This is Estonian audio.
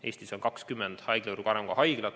Eestis on 20 haiglavõrku kuuluvat haiglat.